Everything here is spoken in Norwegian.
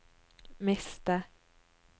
miste